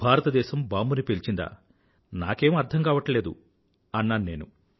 భారతదేశం బాంబుని పేల్చిందా నాకేం అర్థం కావట్లేదు అన్నాను నేను